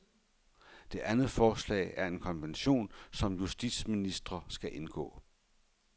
Det andet forslag er en konvention, som justitsministrene skal indgå.